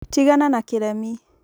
tigana na kĩremi